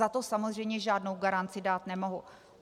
Za to samozřejmě žádnou garanci dát nemohu.